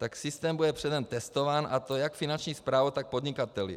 Tak systém bude předem testován, a to jak Finanční správou, tak podnikateli.